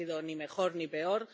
No ha sido ni mejor ni peor.